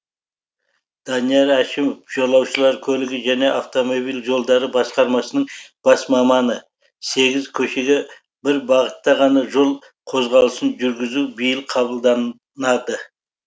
данияр әшімов жолаушылар көлігі және автомобиль жолдары басқармасының бас маманы сегіз көшеге бір бағытта ғана жол қозғалысын жүргізу биыл қабылданады